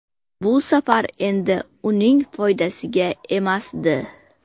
Bu safar endi uning foydasiga emasdi.